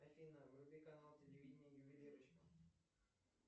афина вруби канал телевидения ювелирочка